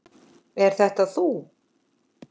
Er þetta þú?